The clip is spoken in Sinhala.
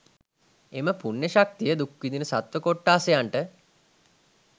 එම පුණ්‍ය ශක්තිය දුක්විඳින සත්ව කොට්ඨාසයන්ට